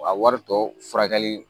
A wari tɔ furakɛli